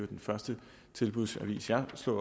den første tilbudsavis jeg slog